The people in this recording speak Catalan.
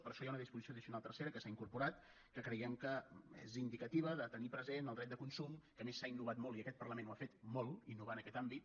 per això hi ha una disposició addicional tercera que s’ha incorporat que creiem que és indicativa de tenir present el dret de consum que a més s’ha innovat molt i aquest parlament ho ha fet molt innovar en aquest àmbit